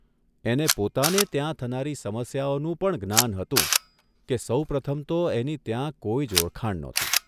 એને પોતાને ત્યાં થનારી સમસ્યાઓનું પણ જ્ઞાન હતું કે સૌપ્રથમ તો એની ત્યાં કોઇ જ ઓળખાણ નહોતી.